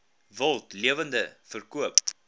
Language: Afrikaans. wild lewende verkope